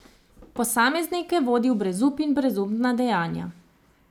Posameznike vodi v brezup in brezupna dejanja.